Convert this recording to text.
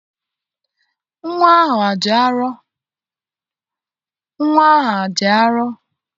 Nnwa ahụ adị arọ?